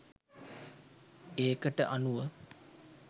ඒකට අනුව